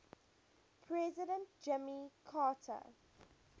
president jimmy carter